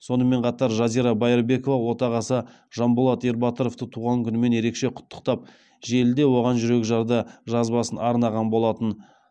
сонымен қатар жазира байырбекова отағасы жанболат ербатыровты туған күнімен ерекше құттықтап желіде оған жүрекжарды жазбасын арнаған болатын